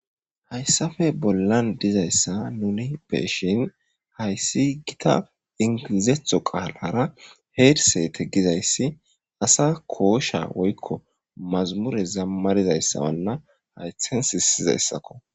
Hayssafe bollan dizayssa nuni beeshin hayssi gita ingilizetho qaalara heersete gizayssi asa koosha woykko mazamure zammarizayssawanna haythen sissizayssakko.